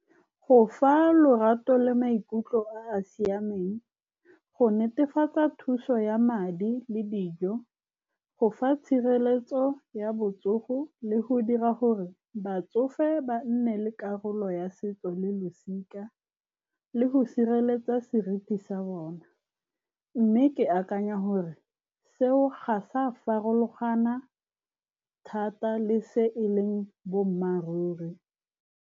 Go fa lorato le maikutlo a a siameng, go netefatsa thuso ya madi le dijo. Go fa tshireletso ya botsogo le go dira gore batsofe ba nne le karolo ya setso le losika, le go sireletsa seriti sa bona, mme ke akanya gore seo ga sa farologana thata le se e leng boammaaruri.